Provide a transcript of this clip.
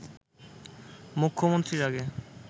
মুখ্যমন্ত্রীর আগে